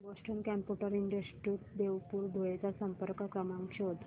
Boston computer institute Deopur Dhule चा संपर्क क्रमांक शोध